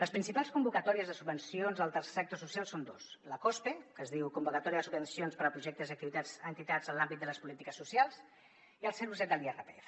les principals convocatòries de subvencions al tercer sector social són dos la cospe que es diu convocatòria de subvencions per a projectes i activitats d’entitats en l’àmbit de les polítiques socials i el zero coma set de l’irpf